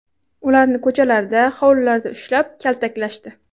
Ularni ko‘chalarda, hovlilarda ushlab, kaltaklashdi.